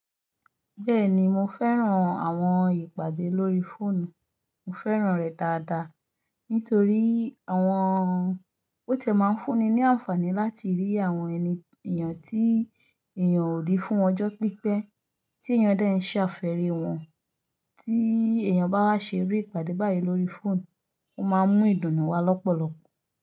Bẹ́ẹ̀ni mo fẹ́ràn àwọn ìpàdé lórí fóònù, mo fẹ́ràn rẹ̀ dáadáa nítorí àwọn ó ti ẹ máa ń fúnni ní àǹfààní láti rí àwọn ẹni èèyàn tí èèyàn ò rí fún ọjọ́ pípẹ́, tí èèyàn dẹ́ ń ṣe àfẹ́ri wọ́n, tí èèyàn bá wá ṣe irú ìpàdé báyìí lórí fóònù, ó máa mú ìdùnnú wá lọ́pọ̀lọpọ̀